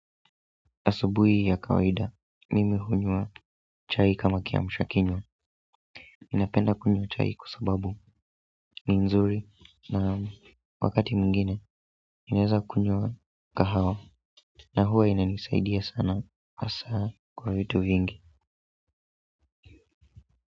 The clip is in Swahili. Asubuhi ya kawaida, mimi hunywa chai kama kiamsha kinywa ninapenda kunywa chai kwa sababu, ni nzuri na wakati mwingine, ninaeza kunywa kahawa, na huwa inanisaidia sana, hasaa kwa vitu vingi.